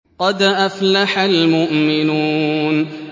قَدْ أَفْلَحَ الْمُؤْمِنُونَ